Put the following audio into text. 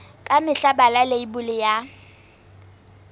ka mehla bala leibole ya